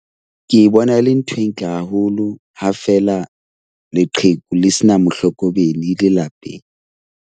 Ke e bona le ntho e ntle haholo ha feela leqheku le sena mohlokomedi lelapeng.